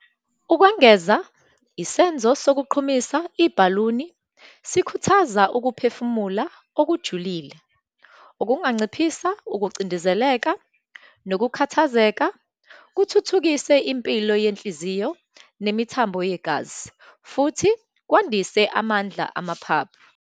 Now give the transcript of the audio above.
Ukwengeza, isenzo sokuqhumisa ibhaluni sikhuthaza ukuphefumula okujulile, okunganciphisa ukucindezeleka nokukhathazeka, kuthuthukise impilo yenhliziyo nemithambo yegazi, futhi kwandise amandla amaphaphu.